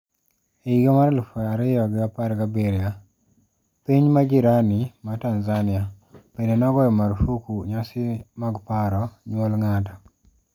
E higa mar elfu ariyo gi apar gi abiryo, Tpiny majirani ma Tanzania, bende nogoyo marfuk nyasi mag paro nyuol ng'ato.